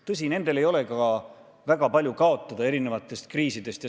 Tõsi, nendel ei ole ka erinevate kriiside korral väga palju kaotada.